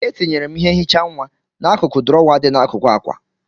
Etinyere m ihe nhicha nwa n'akụkụ drawer dị n'akụkụ akwa.